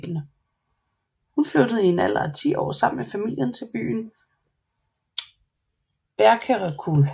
Hun flyttede i en alder af 10 år med familien til byen Berkerekul